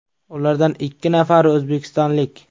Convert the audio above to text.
Ulardan ikki nafari o‘zbekistonlik.